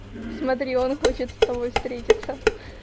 смотри он хочет с тобой встретиться